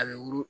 A bɛ wugu